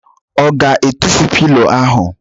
Ọ ga-atụfu pilo ahụ?